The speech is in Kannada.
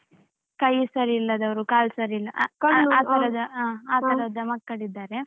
ಕೈ ಸರಿಲ್ಲದವರು ಕಾಲು ಸರಿಲ್ಲ ಆ ತರದ ಆ ತರದ ಮಕ್ಕಳಿದ್ದಾರೆ.